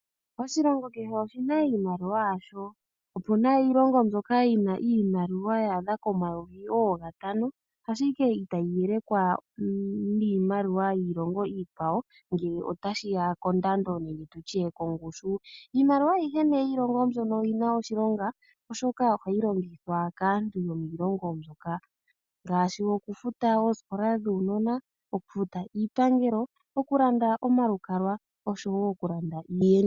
Oshilongo kehe oshina iimaliwa yasho. Opuna iilongo mbyoka yina iimaliwa ya adha komayovi oogatano ashike itayi yelekwa niimaliwa yiilongo iikwawo ngele otashiya kondando nenge tutye kongushu. Iimaliwa ayihe nee mbyono oyina oshilonga, oshoka ohayi longithwa kaantu yomiilongo mbyoka ngaashi okufuta oosikola dhuunona, oku futa iipangelo, oku landa omalukalwa noshowo oku landa iiyenditho.